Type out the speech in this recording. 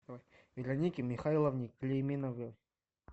веронике михайловне клейменовой